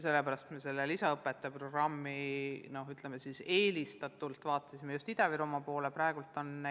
Sellepärast me lisaõpetaja programmi puhul vaatasime just Ida-Virumaa poole.